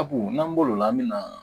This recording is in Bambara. Sabu n'an bolila an bɛ na